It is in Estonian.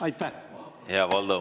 Hea Valdo!